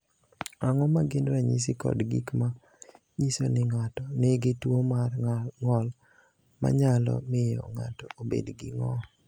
Ang’o ma gin ranyisi kod gik ma nyiso ni ng’ato nigi tuwo mar ng’ol ma nyalo miyo ng’ato obed gi ng’ol?